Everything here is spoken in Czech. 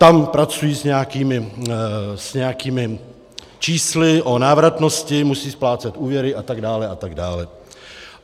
Tam pracují s nějakými čísly o návratnosti, musí splácet úvěry, a tak dále a tak dále.